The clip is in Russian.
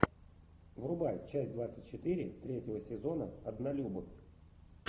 врубай часть двадцать четыре третьего сезона однолюбы